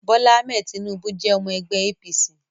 Bola Ahmed Tinubu jẹ́ ọmọ ẹgbẹ́ APC